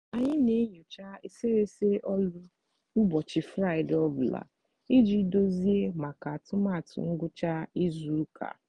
anyị n'enyocha eserese ọlụ ụbọchị fraịde ọ bụla iji dozie maka atụmatụ ngwucha izu ụka.